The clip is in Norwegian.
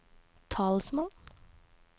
talsmann